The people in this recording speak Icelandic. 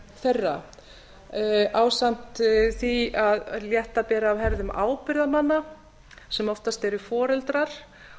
þeirra ásamt því að létta beri af herðum ábyrgðarmanna sem oftast eru foreldrar